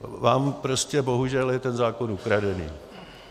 Vám prostě bohužel je ten zákon ukradený!